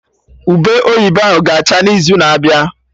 Ube oyibo ahụ ga acha n'izu na-abịa